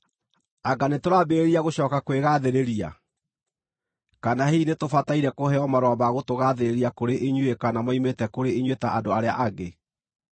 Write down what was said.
Anga nĩtũraambĩrĩria gũcooka kwĩgaathĩrĩria? Kana hihi nĩtũbataire kũheo marũa ma gũtũgaathĩrĩria kũrĩ inyuĩ kana moimĩte kũrĩ inyuĩ ta andũ arĩa angĩ?